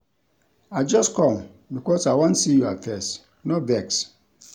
I just com because I wan see your face, no vex.